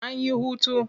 An yi hutu.